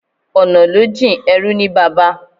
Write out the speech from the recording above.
Ọ̀nà ló jìn, ẹrú ní baba